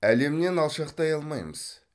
әлемнен алшақтай алмаймыз